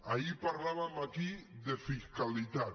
ahir parlàvem aquí de fiscalitat